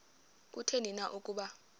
kutheni na ukuba